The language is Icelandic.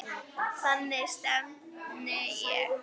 Þangað stefndi ég.